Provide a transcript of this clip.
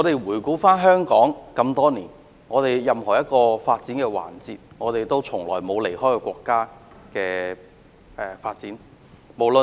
回顧香港多年來的發展，我們從來未曾離開國家的發展。